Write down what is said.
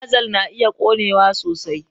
Dizal na iya ƙonewa sosai.